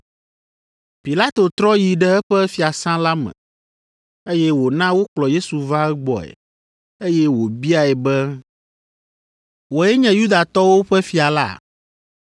Pilato trɔ yi ɖe eƒe fiasã la me, eye wòna wokplɔ Yesu va egbɔe, eye wòbiae be, “Wòe nye Yudatɔwo ƒe fia la?”